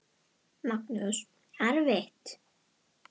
Magnús: Erfitt?